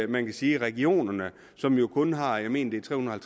man kan sige regionerne som jo kun har jeg mener det er tre hundrede og